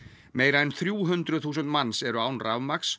meira en þrjú hundruð þúsund manns eru án rafmagns